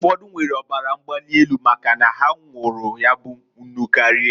Ụfọdụ nwere ọbara mgbali elu nwụrụ, maka na ha nwụụrụ ya bụ nnụ karia.